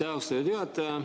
Aitäh, austatud juhataja!